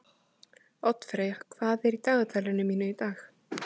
Oddfreyja, hvað er í dagatalinu mínu í dag?